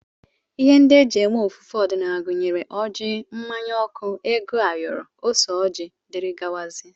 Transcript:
Ihe ndị e ji eme ofufe ọdịnala gụnyere ọjị, mmanya ọkụ, ego ayoro, ose ọjị, dgz